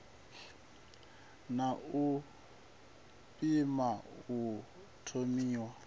na u pima u thomiwa